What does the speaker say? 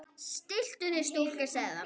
Stilltu þig stúlka, sagði hann.